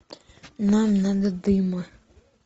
нам надо дыма